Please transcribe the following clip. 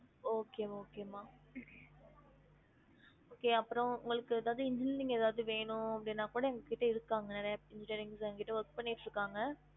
Okay மா okay மா okay அப்ரோ உங்களுக்கு ஏதாது engineering எதாவது வேணும் அப்டினா கூட எங்க கிட்ட இருக்காங்க நிறைய engineers எங்க கிட்ட work பண்ணிட்டு இருக்காங்க